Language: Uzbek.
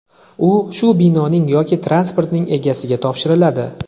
u shu binoning yoki transportning egasiga topshiriladi.